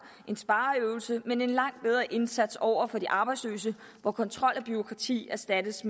en spareøvelse men en langt bedre indsats over for de arbejdsløse hvor kontrol og bureaukrati erstattes